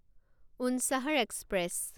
Unchahar express